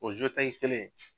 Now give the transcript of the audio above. O kelen